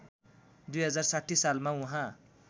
२०६० सालमा उहाँ